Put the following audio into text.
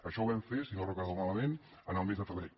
això ho vam fer si no ho recordo malament el mes de febrer